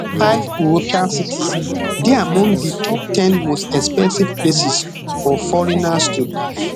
five european cities dey among di top ten most expensive places for foreigners to live